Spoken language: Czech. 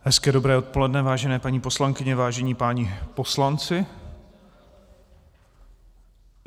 Hezké dobré odpoledne, vážené paní poslankyně, vážení páni poslanci.